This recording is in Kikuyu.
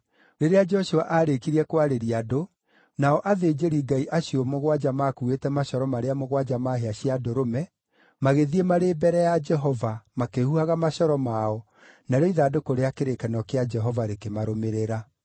Rĩrĩa Joshua aarĩkirie kwarĩria andũ, na athĩnjĩri-Ngai acio mũgwanja maakuuĩte macoro marĩa mũgwanja ma hĩa cia ndũrũme magĩthiĩ marĩ mbere ya Jehova, makĩhuhaga macoro mao, narĩo ithandũkũ rĩa kĩrĩkanĩro kĩa Jehova rĩkĩmarũmĩrĩra.